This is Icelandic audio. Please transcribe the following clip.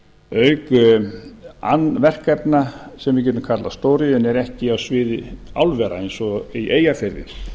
auk verkefna sem við getum kallað stóriðju en eru ekki á sviði álvera eins og í eyjafirði